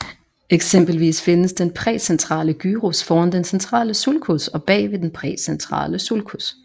Eksempelvis findes den præcentrale gyrus foran den centrale sulcus og bagved den præcentrale sulcus